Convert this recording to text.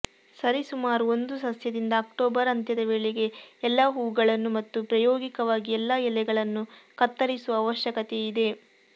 ಸರಿಸುಮಾರು ಒಂದು ಸಸ್ಯದಿಂದ ಅಕ್ಟೋಬರ್ ಅಂತ್ಯದ ವೇಳೆಗೆ ಎಲ್ಲಾ ಹೂವುಗಳನ್ನು ಮತ್ತು ಪ್ರಾಯೋಗಿಕವಾಗಿ ಎಲ್ಲಾ ಎಲೆಗಳನ್ನು ಕತ್ತರಿಸುವ ಅವಶ್ಯಕತೆಯಿದೆ